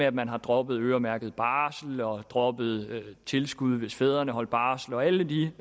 at man har droppet øremærket barsel og droppet tilskuddet hvis fædre holdt barsel og alle de